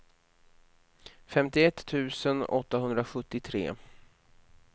femtioett tusen åttahundrasjuttiotre